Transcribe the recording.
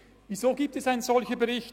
Weshalb gibt es einen solchen Bericht?